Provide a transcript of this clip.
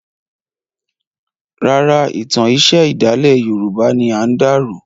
Rárá, ìtàn iṣẹ̀ ìdálẹ̀ yorùbá ni a dà rò.